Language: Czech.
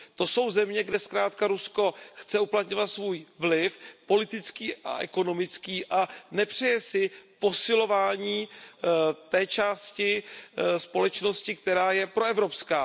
To jsou země, kde zkrátka Rusko chce uplatňovat svůj politický a ekonomický vliv a nepřeje si posilování té části společnosti, která je proevropská.